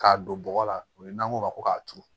K'a don bɔgɔ la o ye n'an ko ma ko k'a turu